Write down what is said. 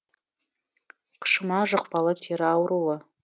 қышыма жұқпалы тері ауруы